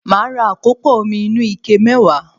Màá ra àkópò omi inú ike mẹ́wàá